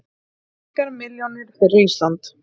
Engar milljónir fyrir Ísland